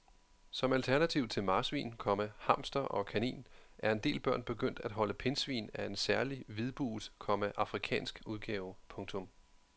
Som alternativ til marsvin, komma hamster og kanin er en del børn begyndt at holde pindsvin af en særlig hvidbuget, komma afrikansk udgave. punktum